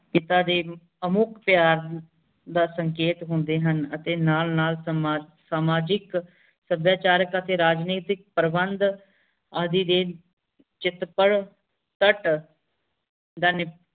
ਇਦਾਂ ਦੇ ਅਮੁਕ ਤਿਓਹਾਰ ਦਾ ਸੰਕੇਤ ਹੁੰਦੇ ਹਨ ਅਤੇ ਨਾਲ ਨਾਲ ਸਮਾਜਿਕ ਸਭਿਆਚਾਰਕ ਅਤੇ ਰਾਜਨੇਤਿਕ ਪਰ੍ਵੰਧ